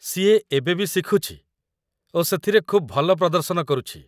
ସିଏ ଏବେ ବି ଶିଖୁଛି ଓ ସେଥିରେ ଖୁବ୍ ଭଲ ପ୍ରଦର୍ଶନ କରୁଛି।